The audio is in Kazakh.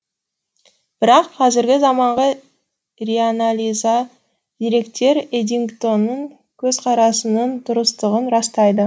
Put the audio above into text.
бірақ қазіргі заманғы реанализа деректер эддингтонның көзқарасының дұрыстығын растайды